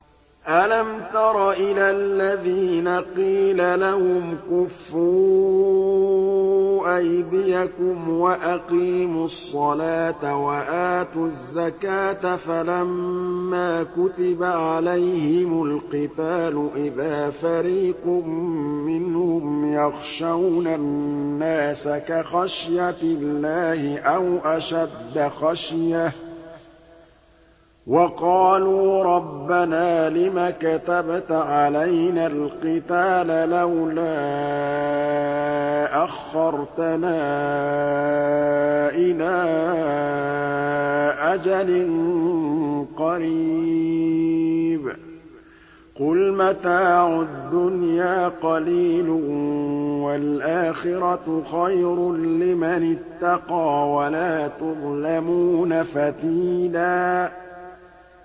أَلَمْ تَرَ إِلَى الَّذِينَ قِيلَ لَهُمْ كُفُّوا أَيْدِيَكُمْ وَأَقِيمُوا الصَّلَاةَ وَآتُوا الزَّكَاةَ فَلَمَّا كُتِبَ عَلَيْهِمُ الْقِتَالُ إِذَا فَرِيقٌ مِّنْهُمْ يَخْشَوْنَ النَّاسَ كَخَشْيَةِ اللَّهِ أَوْ أَشَدَّ خَشْيَةً ۚ وَقَالُوا رَبَّنَا لِمَ كَتَبْتَ عَلَيْنَا الْقِتَالَ لَوْلَا أَخَّرْتَنَا إِلَىٰ أَجَلٍ قَرِيبٍ ۗ قُلْ مَتَاعُ الدُّنْيَا قَلِيلٌ وَالْآخِرَةُ خَيْرٌ لِّمَنِ اتَّقَىٰ وَلَا تُظْلَمُونَ فَتِيلًا